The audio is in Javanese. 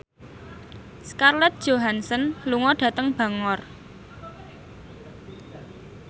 Scarlett Johansson lunga dhateng Bangor